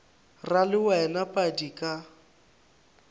ra le wena padi ka